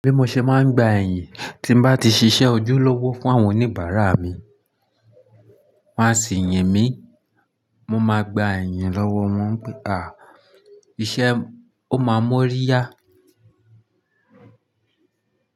Bí mo ṣe máa ń gba iyin tí bá ti ṣiṣẹ́ ojúlówó fún àwọn oníbàra árà mi. Wọ́n á sì yin mí, wọ́n máa gba ẹ̀yìn lọ́wọ́ wọn pé àwọn iṣẹ́ ó máa mú ọ́ rí yá.